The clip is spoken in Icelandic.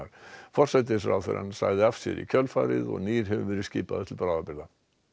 forsætisráðherrann sagði af sér í kjölfarið og nýr hefur verið skipaður til bráðabirgða